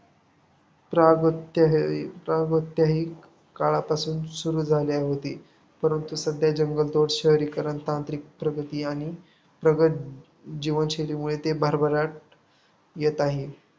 काळापासून सुरू झाले होती. परंतु सध्या जगभर शहरीकरण, तांत्रिक प्रगती आणि प्रगत जीवनशैलीमुळे ते भरभराट येत आहे.